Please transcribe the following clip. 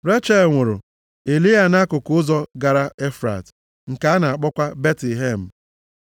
Rechel nwụrụ, e lie ya nʼakụkụ ụzọ gara Efrat, nke a na-akpọkwa Betlehem.